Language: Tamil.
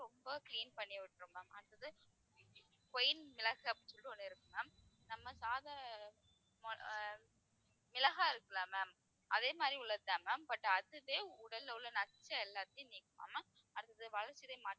ரொம்ப clean பண்ணி விட்டுரும் ma'am மிளகு அப்படினு சொல்லிட்டு ஒண்ணு இருக்கு ma'am நம்ம சாதா மொ~ அஹ் மிளகா இருக்குல்ல ma'am அதே மாதிரி உள்ளதுதான் ma'am but அதுவே உடல்ல உள்ள நச்சு எல்லாத்தையும் நீக்குமாம் ma'am அடுத்தது வளர்ச்சிதை